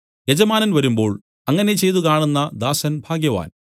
യജമാനൻ വരുമ്പോൾ അങ്ങനെ ചെയ്തു കാണുന്ന ദാസൻ ഭാഗ്യവാൻ